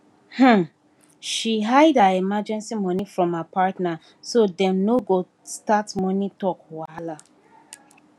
um she hide her emergency money from her partner so dem no go start money talk wahala